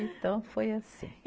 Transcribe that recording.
Então, foi assim.